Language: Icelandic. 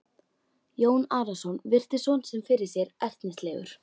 Jón Arason virti son sinn fyrir sér ertnislegur.